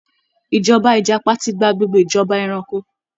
Ìjọba Ìjàpá ti gba gbogbo ìjọba eranko